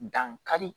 Dankari